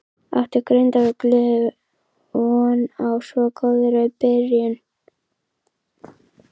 Átti Grindavíkur liðið von á svo góðri byrjun?